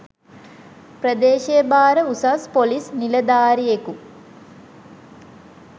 ප්‍රදේශය භාර උසස් පොලිස් නිලධාරියෙකු